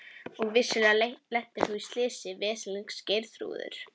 Og vissulega lentir þú í því slysi, veslings Geirþrúður.